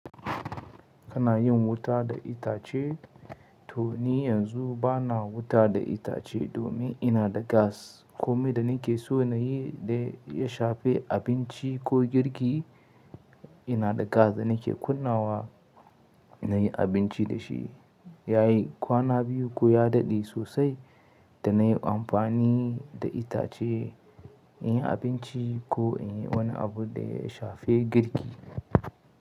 Kana yin wuta da itace? To ni yanzu bana wuta da itace domin ina da gas. Ko me da nake so na yi da ya shafi abinci ko girki, ina da gas da nake kunna wa na yi abinci da shi. Yayi kwana biyu ko ya daɗe sosai da na yi amfani da itace in yi abinci ko in yi wani abu da ya shafe girki.